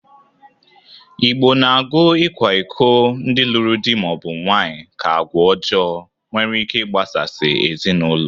Igbo na-agụ ịkwa iko ndị lụrụ dị ma ọ bụ nwaanyị ka agwa ọjọọ nwere ike ịgbasasị ezinaụlọ.